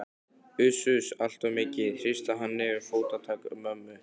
Uss-uss, allt of mikið, hrista hann niður. fótatak mömmu